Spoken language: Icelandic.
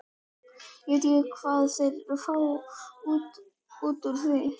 Ég veit ekki hvað þeir fá út úr því.